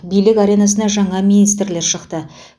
билік аренасына жаңа министрлер шықты